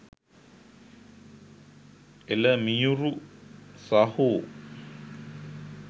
එල මියුරු සහෝ